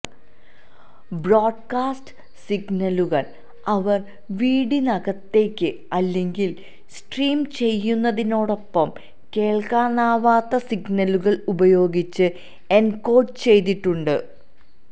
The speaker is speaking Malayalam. ബ്രോഡ്കാസ്റ്റ് സിഗ്നലുകൾ അവർ വീടിനകത്തേക്ക് അല്ലെങ്കിൽ സ്ട്രീം ചെയ്യുന്നതിനൊപ്പം കേൾക്കാനാവാത്ത സിഗ്നലുകൾ ഉപയോഗിച്ച് എൻകോഡ് ചെയ്തിട്ടുണ്ട്